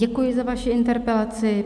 Děkuji za vaši interpelaci.